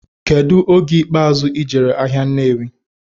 Kedu oge ikpazụ ijere ahia Nnewi?